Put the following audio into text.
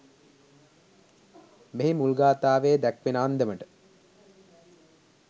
මෙහි මුල් ගාථාවේ දැක්වෙන අන්දමට